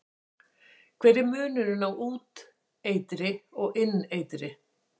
Hver er munurinn á úteitri og inneitri?